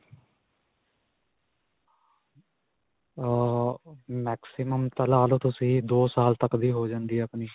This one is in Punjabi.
ਅਅ maximum ਤਾਂ ਲਾ ਲਵੋ ਤੁਸੀਂ ਦੋ ਸਾਲ ਤੱਕ ਦੀ ਹੋ ਜਾਂਦੀ ਹੈ ਆਪਣੀ.